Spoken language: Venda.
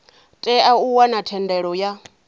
tea u wana thendelo ya